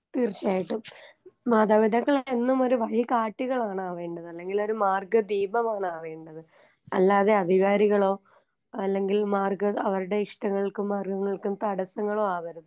തീർച്ചായിട്ടും മാതാപിതാക്കളെമൊരു വഴികാട്ടികളാണ് ആവേണ്ടത് അല്ലെങ്കിലൊരു മാർഗ്ഗദീപമാണാവേണ്ടത് അല്ലാതെ അധികാരികളോ അല്ലെങ്കിൽ മാർഗ്ഗ അവർടെ ഇഷ്ടങ്ങൾക്കും മാർഗങ്ങൾക്കും തടസങ്ങളു ആവരുത്.